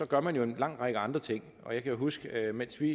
gør man jo en lang række andre ting og jeg kan huske at mens vi